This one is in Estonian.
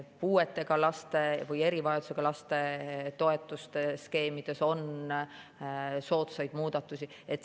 Puuetega laste või erivajadusega laste toetuste skeemides on soodsaid muudatusi.